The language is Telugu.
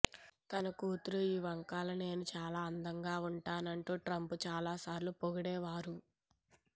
తన కూతురు ఇవాంకలా నేను చాలా అందంగా వుంటానంటూ ట్రంప్ చాలాసార్లు పొగిడేవారు